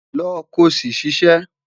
Lọ ko si ṣiṣẹ